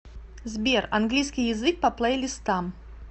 сбер английский язык по плейлистам